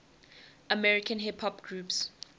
american hip hop groups